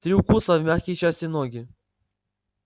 три укуса в мягкие части ноги